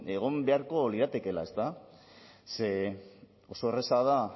egon beharko liratekeela oso erraza da